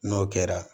N'o kɛra